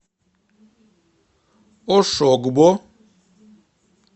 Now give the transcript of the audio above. ошогбо